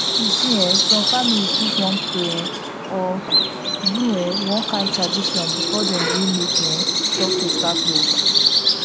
you see en some families fit wan pray um or do um one kind tradition before dem gree make um doctor start work